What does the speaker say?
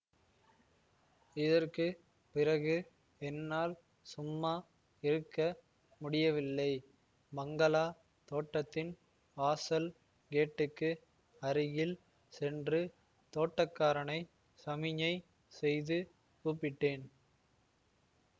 இதற்கு பிறகு என்னால் சும்மா இருக்க முடியவில்லை பங்களா தோட்டத்தின் வாசல் கேட்டுக்கு அருகில் சென்று தோட்டக்காரனை சமிஞை செய்து கூப்பிட்டேன்